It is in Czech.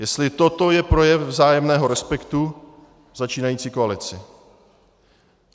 Jestli toto je projev vzájemného respektu začínající koalice.